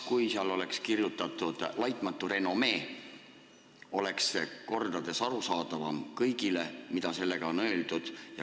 Kui seal oleks kirjutatud "laitmatu renomee", oleks kõigile kordades arusaadavam, mida sellega on öeldud.